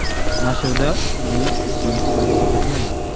Nashrda uning ismi aks etmagan.